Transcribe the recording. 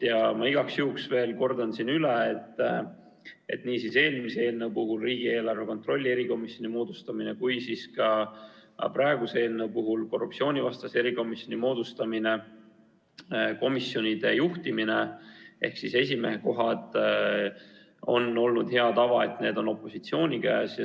Ja ma igaks juhuks veel kordan üle, et nii eelmise eelnõu puhul – riigieelarve kontrolli erikomisjoni moodustamine – kui ka praeguse eelnõu puhul – korruptsioonivastase erikomisjoni moodustamine – on olnud hea tava, et komisjonide juhtimine ehk esimehe koht on opositsiooni käes.